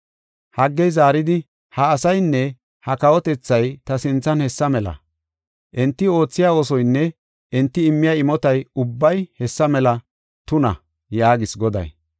Haggey zaaridi, “Ha asaynne ha kawotethay ta sinthan hessa mela. Enti oothiya oosoynne enti immiya imotay ubbay hessa mela tuna” yaagees Goday.